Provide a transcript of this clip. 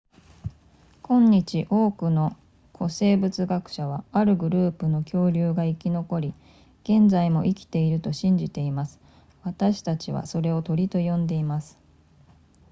今日多くの古生物学者はあるグループの恐竜が生き残り現在も生きていると信じています私たちはそれを鳥と呼んでいます